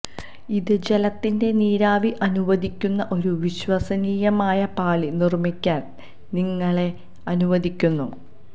ഇത് ജലത്തിന്റെ നീരാവി അനുവദിക്കുന്ന ഒരു വിശ്വസനീയമായ പാളി നിർമ്മിക്കാൻ നിങ്ങളെ അനുവദിക്കുന്നു